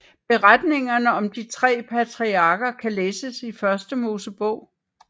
Beretningerne om de tre patriarker kan læses i Første Mosebog